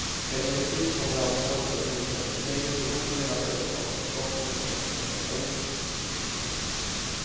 Emellertid kommer ansvaret för bostadstilläggen förmodligen att övertas av staten från och med nästa år.